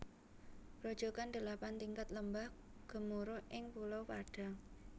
Grojogan Delapan Tingkat Lembah Gemuruh ing Pulau Padang